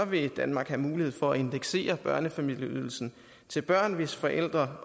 vil danmark have mulighed for at indeksere børnefamilieydelsen til børn hvis forældre